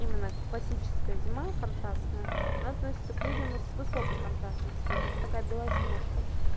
классическая зима контрастная на относится к людям с высокой контрастностью это такая белоснежка